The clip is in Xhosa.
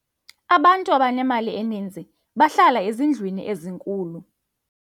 abantu abanemali eninzi bahlala ezindlwini ezinkulu